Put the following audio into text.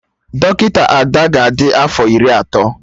Dọkịta Ada ga adị afọ Iri atọ